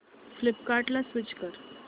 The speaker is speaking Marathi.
फ्लिपकार्टं ला स्विच कर